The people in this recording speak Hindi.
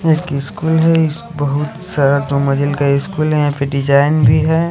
इस्कूल स्कूल है यहाँ पे बहुतसारा मेमोरियल का स्कूल है यहाँ पे डिजाईन भी ह--